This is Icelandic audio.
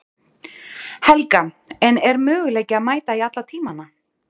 Helga: En er möguleiki að mæta í alla tímana?